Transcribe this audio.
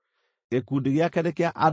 Gĩkundi gĩake nĩ kĩa andũ 74,600.